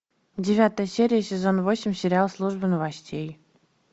девятая серия сезон восемь сериал служба новостей